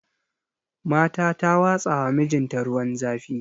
Mata ta watsawa mijinta ruwan zafi